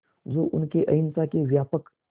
जो उनके अहिंसा के व्यापक